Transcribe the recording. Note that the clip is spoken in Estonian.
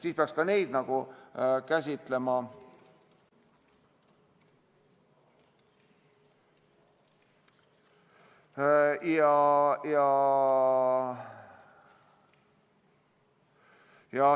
Siis peaks ka neid käsitlema.